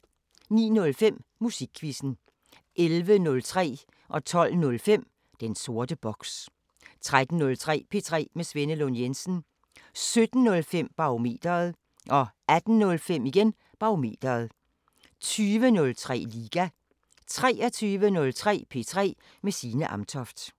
09:05: Musikquizzen 11:03: Den sorte boks 12:05: Den sorte boks 13:03: P3 med Svenne Lund Jensen 17:05: Barometeret 18:05: Barometeret 20:03: Liga 23:03: P3 med Signe Amtoft